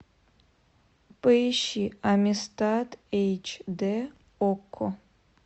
поищи амистад эйч дэ окко